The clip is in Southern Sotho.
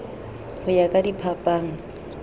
ho ya ka diphapang na